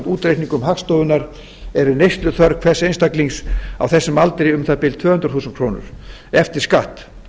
útreikningum hagstofunnar er neysluþörf hvers einstaklings á þessum aldri um það bil tvö hundruð þúsund krónur eftir skatt